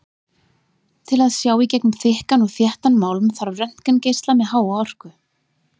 Til að sjá í gegnum þykkan og þéttan málm þarf röntgengeisla með háa orku.